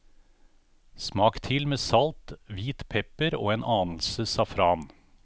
Smak til med salt, hvit pepper og en anelse safran.